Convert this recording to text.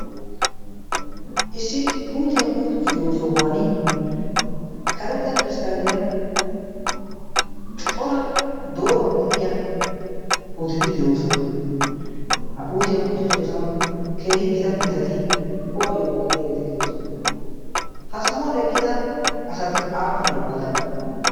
issi puutiyaa putisiyo sohuwan karetta piristaaliyan cora dooruwan de'iya puuteti de'oosona. ha putiyaa puuti siyoosuwan keehi gita mittati kuwaayyo go'iyaageeti de'oosona ha sohuwan eqqida asati aappunee qoodan?